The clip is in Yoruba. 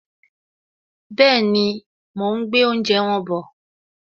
Bẹ́ẹ̀ni, mo ún gbé oúnjẹ wọn bọ̀